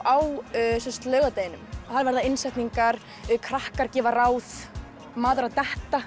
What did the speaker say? á laugardeginum það verða innsetningar krakkar gefa ráð maður að detta